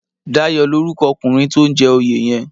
Dayo lórúkò òkúnrin tó n jè óyé yèn